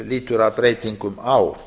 lýtur að breytingum á